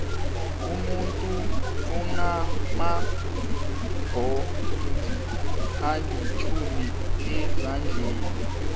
umuntu unamabhonzi alitjhumi ezandleni